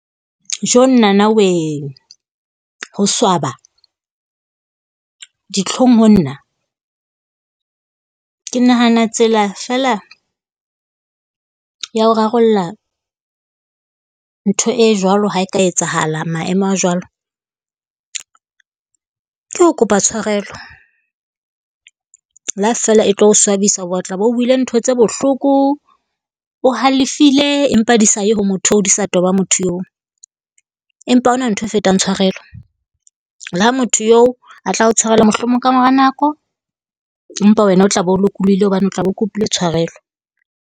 Jonnana we! Ho swaba, ditlhong ho nna. Ke nahana tsela feela ya ho rarolla ntho e jwalo ha e ka etsahala maemo a jwalo, ke ho kopa tshwarelo le ha feela e tlo swabisa hoba o tla be o buile ntho tse bohloko, o halefile empa di sa ye ho motho oo, di sa toba motho oo. Empa ha hona ntho e fetang tshwarelo le ha motho oo a tla o tshwarelwa mohlomong kamora nako, empa wena o tla be o lokolohile hobane o tla o kopile tshwarelo.